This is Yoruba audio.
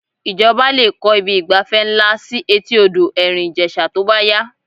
Ìjọba lè kọ́ ibi ìgbafẹ́ ńlá sí etí odò Ẹ̀rìn Ìjẹ̀ṣà tó bá yá